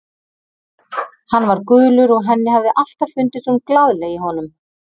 Hann var gulur og henni hafði alltaf fundist hún glaðleg í honum.